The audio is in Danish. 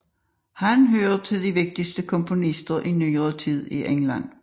Han hører til de vigtige komponister i nyere tid i England